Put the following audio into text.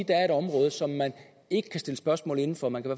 der er et område som man ikke kan stille spørgsmål inden for man kan